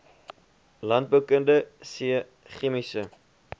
landboukundige c chemiese